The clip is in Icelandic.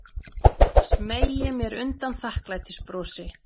Smeygi mér undan þakklætisbrosi.